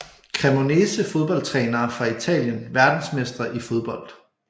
Cremonese Fodboldtrænere fra Italien Verdensmestre i fodbold